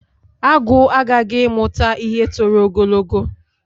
Agwu aghaghị ịmụta ihe tọrọ ogologo